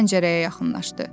Və pəncərəyə yaxınlaşdı.